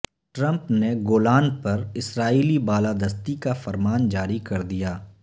Trump نے Golan پر اسرائیلی بالادستی کا فرمان جاری کردیا